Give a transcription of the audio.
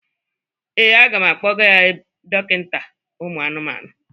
Ee, aga m akpọga ya ebe dọkịnta ụmụ anụmanụ.